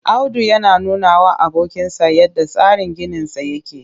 Audu yana nunawa abokinsa yadda tsarin ginisa yake